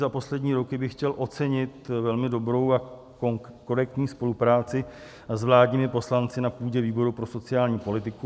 Za poslední roky bych chtěl ocenit velmi dobrou a korektní spolupráci s vládními poslanci na půdě výboru pro sociální politiku.